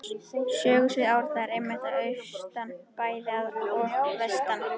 Sögusvið Árna er einmitt að austan bæði og vestan